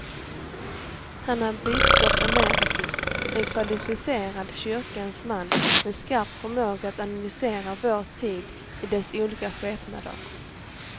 Han är biskop emeritus, en kvalificerad kyrkans man med skarp förmåga att analysera vår tid i dess olika skepnader.